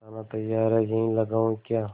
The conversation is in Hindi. खाना तैयार है यहीं लगाऊँ क्या